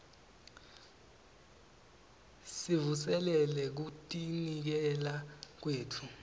sivuselele kutinikela kwetfu